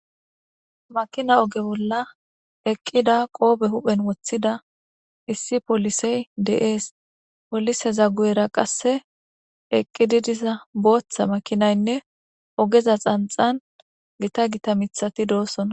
makina oge bolla eqqida qoobe huphen woththida issi polisey de7ees polise za gu7era qasse eqqididiza booththa makinaynne ogeza xanxan gita gita mithati doosona